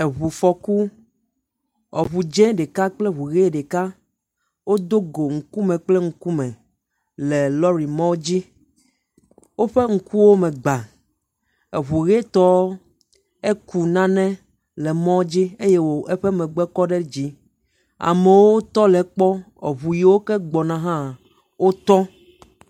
Eŋu fɔku. Eŋu dz0 ɖeka kple eŋu ʋe ɖeka, wodo go ŋkume kple ŋkume le lɔri mɔ dze. Woƒe ŋkuwo me gbã. Eŋu ʋi tɔ eku nane le mɔdzi eye eƒe megbe kɔ dzi. Amewo tɔ le ekpɔ, eŋu yeake gbɔ na hã wotɔ